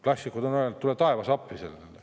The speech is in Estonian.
Klassikud on öelnud, et tule taevas appi.